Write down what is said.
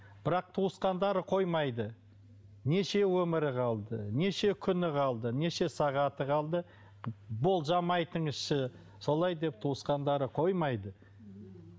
бірақ туысқандары қоймайды неше өмірі қалды неше күні қалды неше сағаты қалды болжам айтыңызшы солай деп туысқандары қоймайды